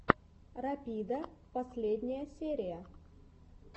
рапида последняя серия